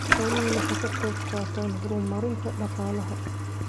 Xooluhu waxay ka qayb qaataan horumarinta dhaqaalaha.